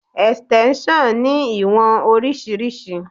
Extension ní ìwọ̀n oríṣiríṣi.